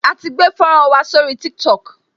A ti gbé fọ́nrán wa sórí Tiktok